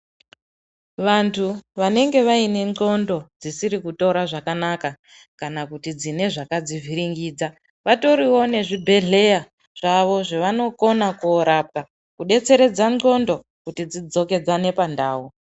Vantu vanenge vaine ndxondo dzisiri kutora zvakanaka, kana kuti dzine zvakadzivhiringidza, vatoriwo nezvibhedhlera zvavo zvevanokona korapwa kudetseredza ndxondo kuti dzidzokedzane pandau.